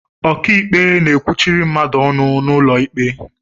Ọkịikpe na-ekwuchiri mmadụ ọnụ n'ụlọ ikpe